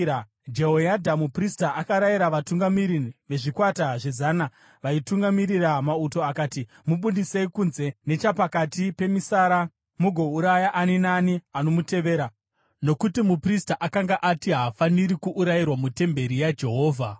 Jehoyadha muprista akarayira vatungamiri vezvikwata zvezana, vaitungamirira mauto akati: “Mubudisei kunze nechapakati pemisara mugouraya ani naani anomutevera.” Nokuti muprista akanga ati, “Haafaniri kuurayirwa mutemberi yaJehovha.”